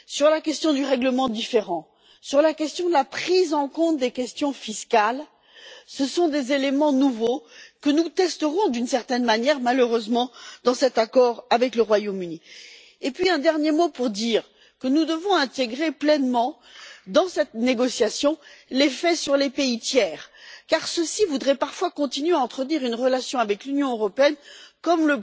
La question du règlement des différends et de la prise en compte des questions fiscales sont des éléments nouveaux que nous testerons, d'une certaine manière, malheureusement, dans cet accord avec le Royaume Uni. Un dernier mot pour dire que nous devons intégrer pleinement, dans cette négociation, l'effet sur les pays tiers, car ceux ci voudraient parfois continuer à entretenir une relation avec l'Union européenne comme